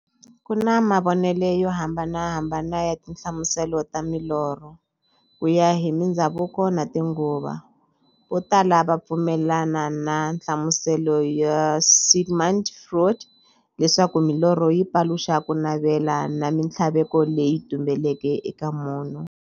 Ku na mavonele yo hambanahambana ya tinhlamuselo ta milorho, kuya hi mindzhavuko na tinguva. Votala va pfumelana na nhlamuselo ya Sigmund Freud, leswaku milorho yi paluxa kunavela na minthlaveko leyi tumbeleke eka munhu.